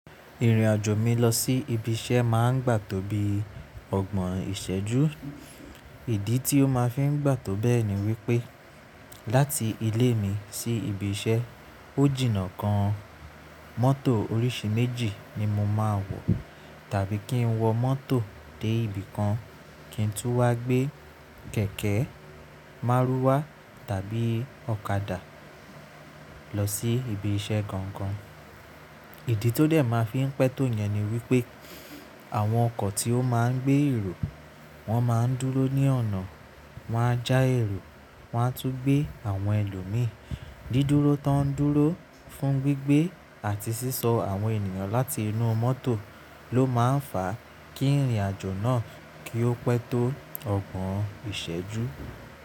Ìrìnàjò mi lọ sí ibi iṣẹ́ máa ń gbà tó bí ọgbọ̀n ìṣẹ́jú. Ìdí tí ó máa fi ń gbà tó bẹ́ẹ̀ ni wípé láti ilé mi sí ibi iṣẹ́, o jìnà kan mọ́tò oríṣi méjì ni mo máa wọ̀. Tàbí kí n wọ mọ́tò dé ibìkan, kí n tún wá gbé kẹ̀kẹ́, márúwá tàbí ọ̀kadà lọ sí ibi iṣẹ́ gangan. Ìdí tó dẹ̀ máa fi ń pẹ́ tó yẹn ni wípé àwọn ọkọ̀ tí ó máa ń gbé èrò, wọ́n máa ń dúró ní ọ̀nà, wọ́n á já èrò, wọ́n á tún gbé àwọn ẹlòmíràn. Dídúró tó ń dúró fún gbígbé àti sísọ àwọn ènìyàn láti inú mọ́tò ló máa ń fà á kí ìrìnàjò náà kí ó pẹ́ tó ọgbọ̀n ìṣẹ́jú.